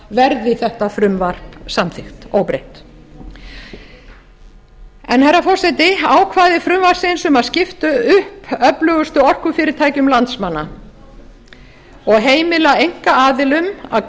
verði þetta frumvarp samþykkt óbreytt herra forseti ákvæði frumvarpsins um að skipta upp öflugustu orkufyrirtækjum landsmanna og heimila einkaaðilum að